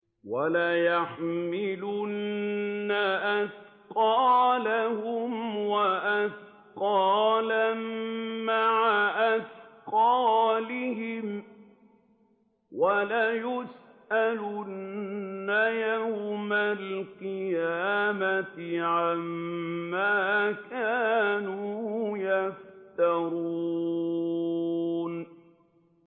وَلَيَحْمِلُنَّ أَثْقَالَهُمْ وَأَثْقَالًا مَّعَ أَثْقَالِهِمْ ۖ وَلَيُسْأَلُنَّ يَوْمَ الْقِيَامَةِ عَمَّا كَانُوا يَفْتَرُونَ